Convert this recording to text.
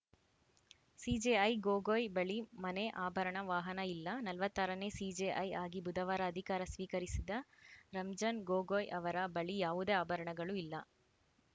CJI Gogoi ಬಳಿ ಮನೆ ಅಭರಣ ವಾಹನ ಇಲ್ಲ ನಲವತ್ತ್ ಆರನೇ ಸಿಜೆಐ ಆಗಿ ಬುಧವಾರ ಅಧಿಕಾರ ಸ್ವೀಕರಿಸಿದ ರಂಜನ್‌ ಗೊಗೋಯ್‌ ಅವರ ಬಳಿ ಯಾವುದೇ ಆಭರಣಗಳು ಇಲ್ಲ